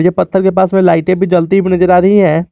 ये पत्थर के पास में लाइटें भी जलती हुई नजर आ रही हैं।